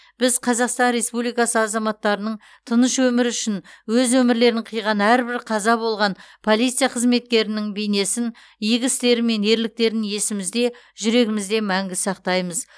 біз қазақстан республикасы азаматтарының тыныш өмірі үшін өз өмірлерін қиған әрбір қаза болған полиция қызметкерінің бейнесін игі істері мен ерліктерін есімізде жүрегімізде мәңгі сақтаймыз